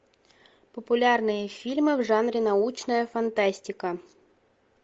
популярные фильмы в жанре научная фантастика